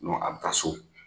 a bɛ taa so